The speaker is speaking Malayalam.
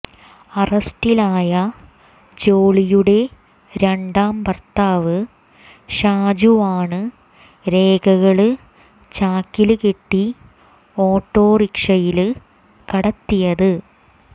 അറസ്റ്റിലായ ജോളിയുടെ രണ്ടാം ഭർത്താവ് ഷാജുവാണ് രേഖകള് ചാക്കില് കെട്ടി ഓട്ടോറിക്ഷയില് കടത്തിയത്